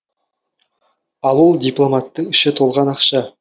ал ол дипломаттың іші толған ақша